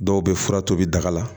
Dɔw bɛ fura tobi daga la